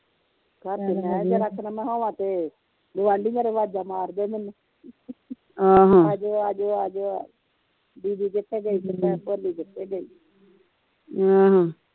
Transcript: ਘਰ ਤੇ ਮੈ ਕਿਹਾ ਜ਼ਰਾ ਕਾ ਨਾ ਮੈ ਹੋਵਾ ਤੇ ਗੁਆਂਢੀ ਮੇਰੇ ਅਵਾਜ਼ਾਂ ਮਾਰਦੇ ਮੈਨੂੰ ਆਜੋ ਆਜੋ ਆਜੋ ਦੀਦੀ ਕਿਥੇ ਗਈ ਤੇ ਭੈਣ ਭੋਲੀ ਕਿਥੇ ਗਈ